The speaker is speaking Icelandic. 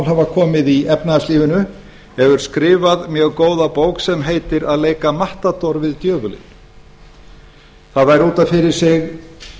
hafa komið upp í efnahagslífinu hefur skrifað mjög góða bók sem heitir að leika matador við djöfulinn það væri út af fyrir sig